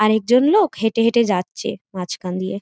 আর একজন লোক হেঁটেহেঁটে যাচ্ছে মাঝখান দিয়ে ।